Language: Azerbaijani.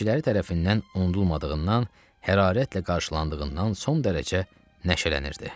Seyirciləri tərəfindən unudulmadığından, hərarətlə qarşılandığından son dərəcə nəşələnirdi.